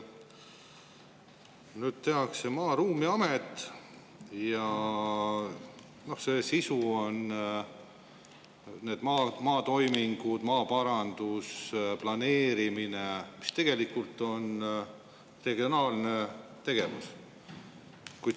Nüüd tehakse Maa‑ ja Ruumiamet ja selle sisu on maatoimingud, maaparandus, planeerimine, mis tegelikult on regionaalne tegevus.